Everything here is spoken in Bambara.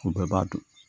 O bɛɛ b'a dɔn